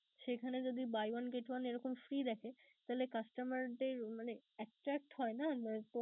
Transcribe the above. সেইখানে যদি buy one get one এরকম free দেখে তাহলে customer দের মানে attract হয় না? নয়তো